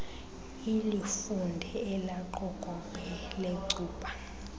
ulifunde elaqokobhe lecuba